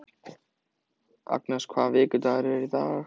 Agnes, hvaða vikudagur er í dag?